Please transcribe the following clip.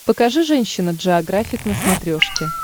покажи женщина джеографик на смотрешке